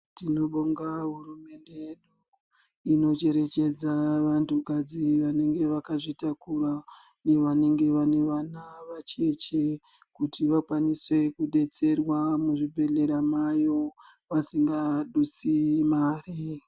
Tinobonga hurumende yedu, inocherechedza vantukadzi vanenge vakazvitakura nevanenge vane vana vacheche, kuti vakwanise kudetserwa muzvibhedhlera mayo, vasingadusi mari.